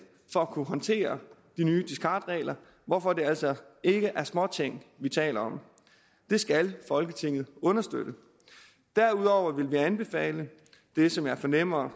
håndtere de nye discardregler hvorfor det altså ikke er småting vi taler om det skal folketinget understøtte derudover vil vi anbefale det som jeg fornemmer